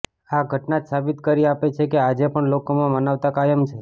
આ ઘટના જ સાબિત કરી આપે છે કે આજે પણ લોકોમાં માનવતા કાયમ છે